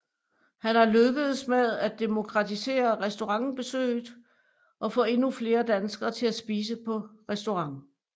Han er lykkedes med at demokratisere restaurantbesøget og få endnu flere danskere til at spise på restaurant